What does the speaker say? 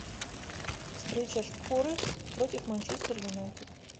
встреча шпоры против манчестер юнайтед